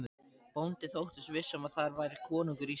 Bóndi þóttist viss um að þar færi konungur Íslands.